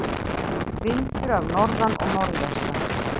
Vindur af norðan og norðvestan